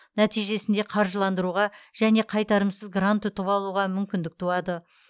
нәтижесінде қаржыландыруға және қайтарымсыз грант ұтып алуға мүмкіндік туады